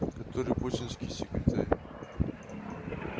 который путинский секретарь